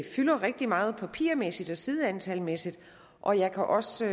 fylder rigtig meget papirmæssigt og sideantalmæssigt og jeg kan også